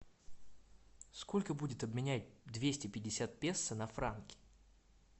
сколько будет обменять двести пятьдесят песо на франки